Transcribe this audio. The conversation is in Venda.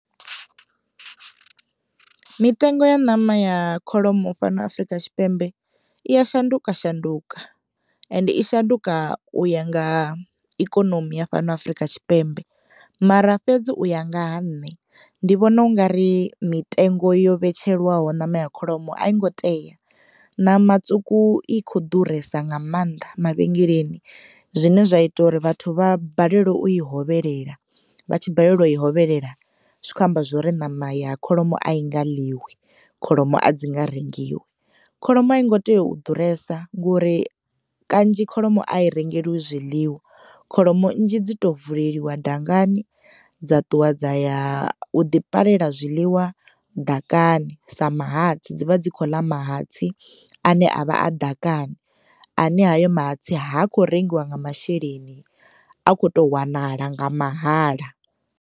Mitengo ya ṋama ya kholomo fhano Afurika Tshipembe I ya shanduka shanduka ende I shanduka u ya nga ikonomi ya fhano Afurika Tshipembe mara fhedzi u ya nga ha nṋe ndi vhona ungari mitengo yo vhetsheliwaho ṋama ya kholomo a yongo tea. Ṋama tswuku I kho ḓuresa nga mannḓa mavhengeleni zwine zwa ita uri vhathu vha balelwe u i hovhelela vha tshi balelwa u i hovhelela zwi kho amba zwori ṋama ya kholomo a i nga ḽiwi kholomo a dzi nga rengiwi, kholomo a i ngo tea u ḓuresa ngori kanzhi kholomo a i rengeliwi zwiḽiwa kholomo nnzhi dzi to vuleliwa dangani dza ṱuwa dza ya u ḓi palela zwiḽiwa ḓakani sa mahatsi dzi vha dzi kho ḽa mahatsi ane avha a ḓakani ane hayo mahatsi ha kho rengiwa nga masheleni a khoto wanala nga mahala.